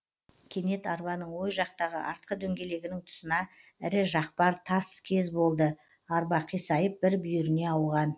кенет арбаның ой жақтағы артқы дөңгелегінің тұсына ірі жақпар тас кез болды арба қисайып бір бүйіріне ауған